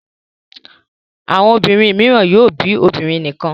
Àwọn obìnrin mìíràn yóò bí obìnrin nìkan.